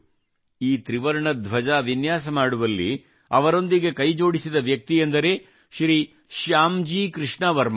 ಈ ತ್ರಿವರ್ಣ ಧ್ವಜ ವಿನ್ಯಾಸ ಮಾಡುವಲ್ಲಿ ಅವರೊಂದಿಗೆ ಕೈಜೋಡಿಸಿದ ವ್ಯಕ್ತಿಯೆಂದರೆ ಶ್ರೀ ಶ್ಯಾಮ್ ಜಿ ಕೃಷ್ಣ ಶರ್ಮಾ